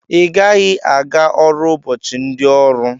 Igaghi aga ọrụ ụbọchi ndi ọrụ!!